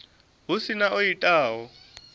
hu si na o itaho